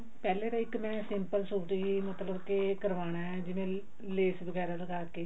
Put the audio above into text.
ਪਹਿਲਾਂ ਤਾਂ ਇੱਕ ਮੈਂ simple ਸੂਟ ਦਾ ਹੀ ਮਤਲਬ ਕੇ ਕਰਵਾਨਾ ਹੈ ਜਿਵੇਂ ਲੈਸ ਵਗੈਰਾ ਲਗਵਾ ਕੇ